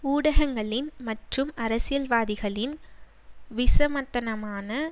ஊடகங்களின் மற்றும் அரசியல்வாதிகளின் விசமத்தனமான